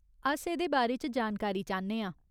अस एह्दे बारे च जानकारी चाह्न्ने आं।